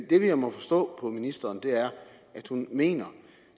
det jeg må forstå på ministeren er at hun mener